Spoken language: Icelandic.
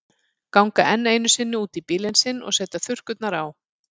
Ganga enn einu sinni út í bílinn sinn og setja þurrkurnar á.